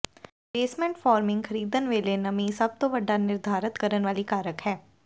basement forming ਖਰੀਦਣ ਵੇਲੇ ਨਮੀ ਸਭ ਤੋਂ ਵੱਡਾ ਨਿਰਧਾਰਤ ਕਰਨ ਵਾਲੀ ਕਾਰਕ ਹੈ